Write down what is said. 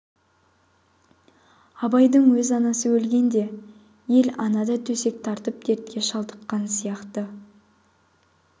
абайдың өз анасы өлгенде ел ана да төсек тартып дертке шалдыққан сияқты